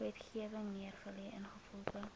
wetgewing neergelê ingevolge